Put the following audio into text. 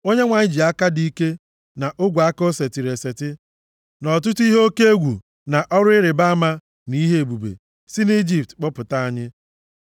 Onyenwe anyị ji aka dị ike na ogwe aka o setịrị eseti, nʼọtụtụ ihe oke egwu na ọrụ ịrịbama, na ihe ebube, si nʼIjipt kpọpụta anyị.